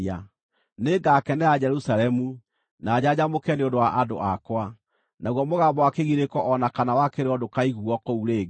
Nĩngakenera Jerusalemu na njanjamũke nĩ ũndũ wa andũ akwa; naguo mũgambo wa kĩgirĩko o na kana wa kĩrĩro ndũkaiguuo kũu rĩngĩ.